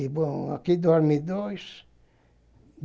E, bom, aqui dorme dois.